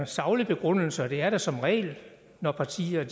saglig begrundelse og det er der som regel når partier